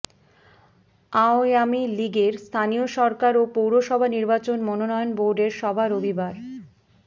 আওয়ামী লীগের স্থানীয় সরকার ও পৌরসভা নির্বাচন মনোনয়ন বোর্ডের সভা রবিবার